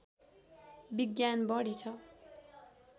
विज्ञान बढी ६